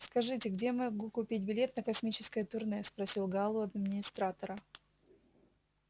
скажите где я могу купить билет на космическое турне спросил гаал у администратора